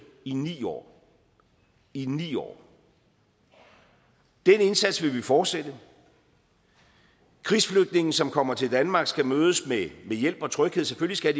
i ni år i ni år den indsats vil vi fortsætte krigsflygtninge som kommer til danmark skal mødes med hjælp og tryghed selvfølgelig